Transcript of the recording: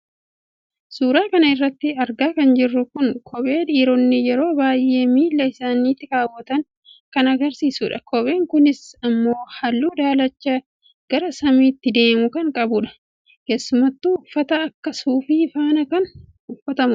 suuraa kana irratti argaa kan jirru kun kophee dhiironni yeroo baay'ee miilla isaaniitti keewwatan kan agarsiisudha. kopheen kunis immoo halluu daalacha gara samiitti deemu kan qabudha. keesumattuu uffata akka suufii faana kan uffatamudha.